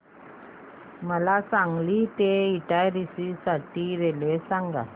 मला सांगली ते इटारसी साठी रेल्वे सांगा